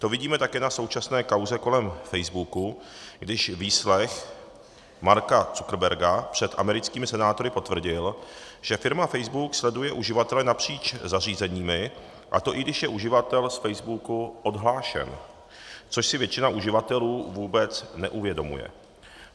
To vidíme také na současné kauze kolem Facebooku, když výslech Marka Zuckerberga před americkými senátory potvrdil, že firma Facebook sleduje uživatele napříč zařízeními, a to i když je uživatel z Facebooku odhlášen, což si většina uživatelů vůbec neuvědomuje.